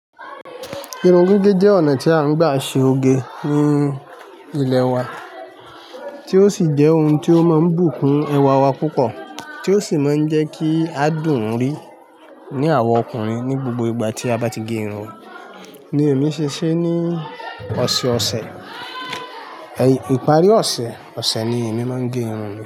Irun gígé jẹ́ ọ̀nà tí a ń gbà ṣe oge ní ilẹ wa, tí ó sì jẹ́ ohun tí ó máa ń bùkún ẹwà wa púpọ̀, tí ó sì máa ń jẹ́ kí a dùn ún rí ní àwa ọkùnrin ní gbogbo ìgbà tí a bá ti gé irun. Ni èmi ṣe ṣe ní ọ̀sẹ̀ ọ̀sẹ̀, ìparí ọ̀sẹ̀ ọ̀sẹ̀ ni èmi máa ń gé irun mi.